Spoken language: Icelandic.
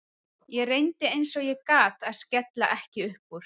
Ég reyndi eins og ég gat að skella ekki upp úr.